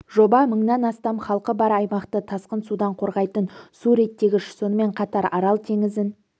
жоба мыңнан астам халқы бар аймақты тасқын судан қорғайтын су реттегіш сонымен қатар арал теңізін